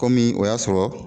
Komi o y'a sɔrɔ